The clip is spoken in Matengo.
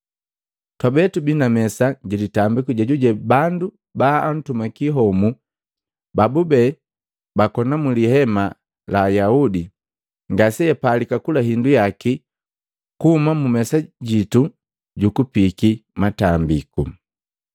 Twabe tubii na mesa ji litambiku jejuje bandu baatumaki homu babube bakona mu lihema la Ayaudi ngase apalika kula hindu yaki kuhuma mu mesa jitu ju kupiki matambiku.